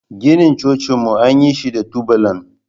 Ginin cocinmu an yi shi da tubalan.